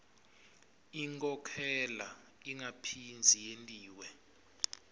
inkhokhela ingaphindze yentiwa